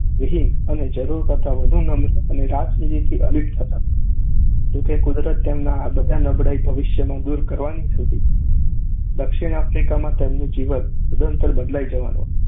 વિહીન અને જરૂર કરતાં વધુ નમ્ર અને રાજનીતિથી અલિપ્ત હતા. જો કે, કુદરત તેમની આ બધી નબળાઈ ભવિષ્યમાં દૂર કરવાની હતી. દક્ષિણ આફ્રિકામાં તેમનું જીવન સદંતર બદલાઈ જવાનું હતું.